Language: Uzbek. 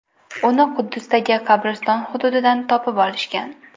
Uni Quddusdagi qabriston hududidan topib olishgan.